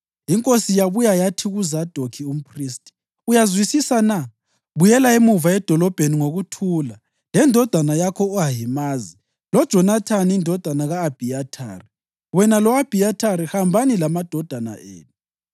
Inkosi yabuya yathi kuZadokhi umphristi, “Uyazwisisa na? Buyela emuva edolobheni ngokuthula, lendodana yakho u-Ahimazi loJonathani indodana ka-Abhiyathari. Wena lo-Abhiyathari hambani lamadodana enu.